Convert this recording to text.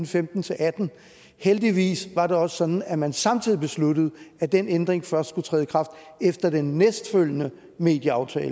femten til atten heldigvis var det også sådan at man samtidig besluttede at den ændring først skulle træde i kraft efter den næstfølgende medieaftale